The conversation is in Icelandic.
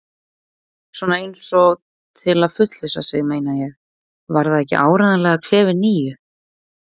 Svona eins og til að fullvissa sig, meina ég: Var það ekki áreiðanlega klefi níu?